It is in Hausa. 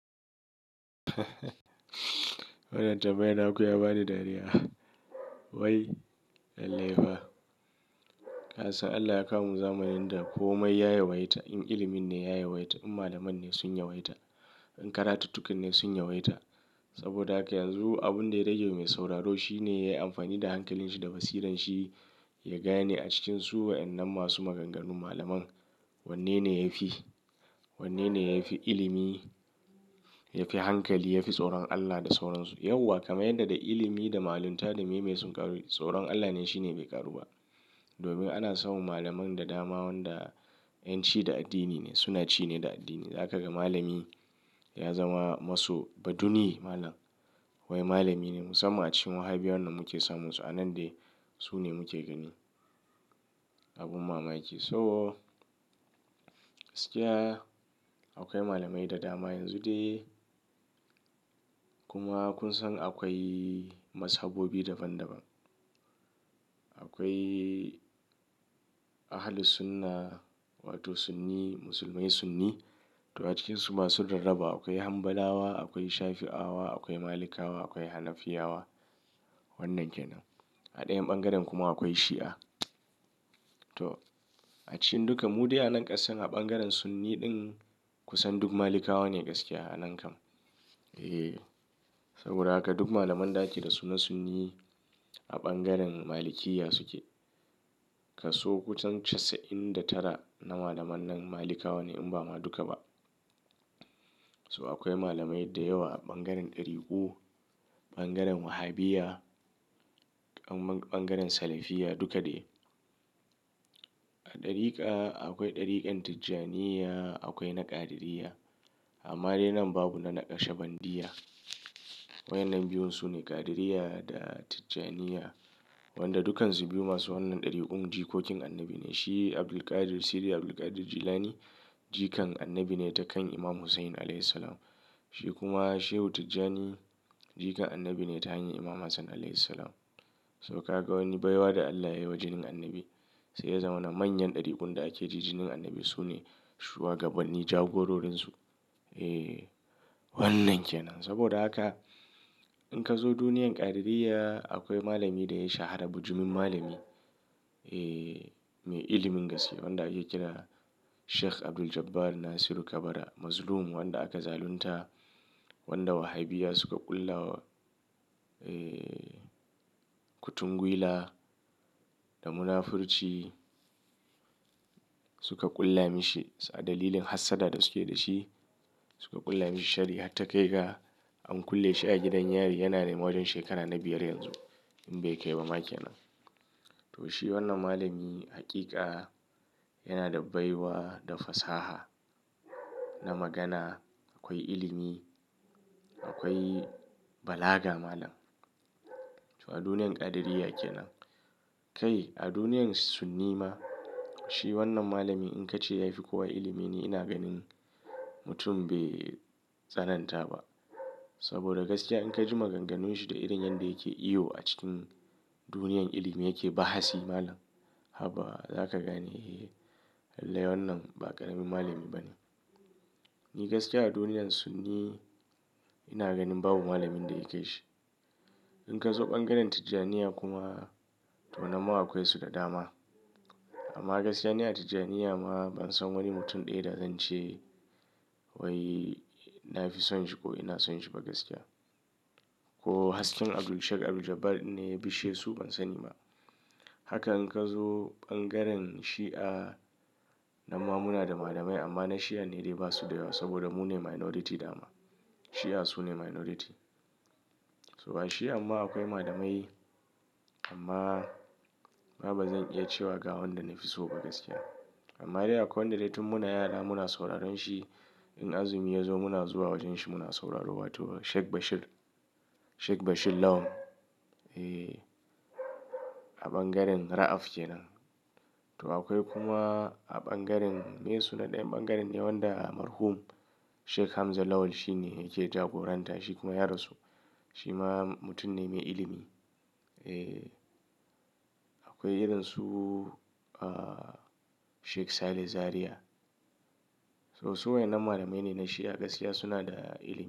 Wannan tambayar naku ya ba ni dariya. Wai, lallai fa. Kasan Allah ya kawo mun zamanin da ko mai ya yawaita. In ilimin ne ya yawaita, in malaman ne sun yawaita, in karatuttukan ne sun yawaita. Saboda haka yanzu abin da ya rage mai sauraro shi ne ya yi amfani da hankalin shi da basiran shi, ya gane a cikin su waɗannan masu maganganu malaman wanne ne yafi, wanne ne yafi ilimi, yafi hankali, yafi tsoron Allah da sauransu. Yauwa kamar yadda da ilimi da malunta da me mai sun ƙaru, tsoron Allah ne shine bai ƙaru ba. Domin ana samun malaman da dama waɗanda 'yan ci da addini ne, suna ci ne da addini. Zaka ga malami ya zama maso baduni malam wai malami ne musamman a cikin wahaibiya wan da muke samun su a nan dai su ne muke gani. Abin mamaki. So gaskiya akwai malamai da dama yanzu dai. Kuma kun san akwai mazhabobi daban daban. Akwai Ahlussunnah wato Sunni, musulmai Sunni to a cikinsu masu rarraba. Akwai Hambalawa, akwai Shafi'awa, akwai Malikawa, akwai Hanafiyawa. Wannan ke nan. A ɗayan ɓangaren kuma akwai Shi'a. To a cikin duka mu dai a nan ƙasar a ɓangaren Sunni ɗin kusan duk Malikawa ne gaskiya a nan kam. Eh, saboda haka duk malaman da ake da su na Sunni a ɓangaren Malikiya suke. Ka so kusan casa'in da tara na malaman nan Malikawa ne in ba ma duka ba. So akwai malamai da yawa a ɓangaren ɗariku, ɓangaren Wahaibiya, ɓangaren Salafiya duka dai. A ɗarika akwai ɗarikar Tijaniyya, akwai na Qadiriyya. Amma dai nan babu na na Ƙashabandiyya. Waɗannan biyun su ne Qadiriyya da Tijjaniyya. Wanda dukansu biyu masu wannan ɗarikun jikokin annabi ne. Shi Abdul Qadir, Siri Abdul Qadir Jilani jikan annabi ne ta kan Imam Hussain alaihis salam. Shi kuma Shehu Tijjani jikan annabi ne ta hanyar Imam Hassan alaihis salam. So ka ga wani baiwa da Allah yayi wa jinin annabi sai ya zama na manyan ɗarikun da ake ji jinin annabi su ne shuwagabanni jagororin su. Eh wannan ke nan. Saboda haka in ka zo duniyar Qadiriyya akwai malami da ya shahara bujumin malami. Eh mai ilimin gaske wanda yake kira Sheikh Abdul Jabbar Nasiru Kabara. Mazlum wanda aka zalunta, wanda Wahhabiya suka ƙulla wa, eh kutungwila da munafurci suka ƙulla mashi a dalilin hassada da suke da shi. Suka ƙulla mashi sharri har ta kai ga an kulle shi a gidan yari. Yana neman wajen shekara na biyar yanzu in bai kai ba ma ke nan. To shi wannan malami haƙiƙa yana da baiwa da fasaha na magana. Akwai ilimi, akwai balaga malam. To a duniyar Qadiriyya ke nan. Kai a duniyar Sunni ma shi wannan malami in ka ce yafi kowa ilimi ni ina ganin mutum bai tsananta ba. Saboda gaskiya in ka ji maganganun shi da irin yadda yake iyo a cikin duniyar ilimi yake bahasi malam. Haba! Zaka gane eh lallai wannan ba ƙaramin malami ba ne. Ni gaskiya a duniyar Sunni ina ganin babu malamin da yake shi. In ka zo ɓangaren Tijjaniyya kuma to nan ma akwai su da dama. Amma gaskiya ne a Tijjaniyya ma ban san wani mutum ɗaya da zan ce wai na fi son shi ko ina son shi ba gaskiya. Ko hasken Abdul Sheikh Abdul Jabbar din ne ya bishe su ban sani ba. Haka in ka zo ɓangaren Shi'a nan ma muna da malamai amma na Shi'a ne dai ba su da yawa saboda mu ne minority dama. Shi'a su ne minority. To a Shi'a ma akwai malamai amma ba zan iya cewa ga wanda na fi so ba gaskiya. Amma dai akwai wanda dai tun muna yara muna sauraron shi. In azumi ya zo muna zuwa wajen shi muna sauraro. Wato Sheikh Bashir. Sheikh Bashir Lawan. Eh a ɓangaren Ra'af ke nan. To akwai kuma a ɓangaren me su naɗe ɓangaren ne wan da marhum Sheikh Hamza Lawal shine yake jagoranta. Shi kuma yarasu. Shi ma mutum ne mai ilimi. Eh akwai irin su ah Sheikh Saleh Zaria. So su waɗannan malamai ne na Shi'a gaskiya suna da ilimi.